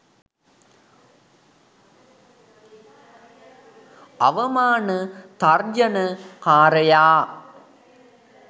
අවමාන තර්ජන කාරයා